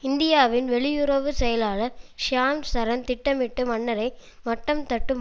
இந்தியாவின் வெளியுறவு செயலாளர் ஷியாம் சரண் திட்டமிட்டு மன்னரை மட்டம் தட்டும்